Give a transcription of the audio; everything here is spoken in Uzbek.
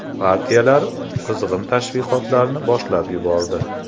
Partiyalar qizg‘in tashviqotlarni boshlab yubordi.